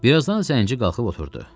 Bir azdan zənci qalxıb oturdu.